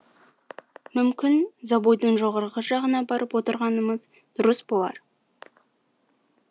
мүмкін забойдың жоғарғы жағына барып отырғанымыз дұрыс болар